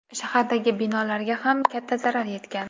Shahardagi binolarga ham katta zarar yetgan.